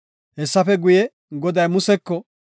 Hessafe guye, Goday Museko,